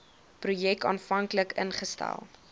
projek aanvanklik ingestel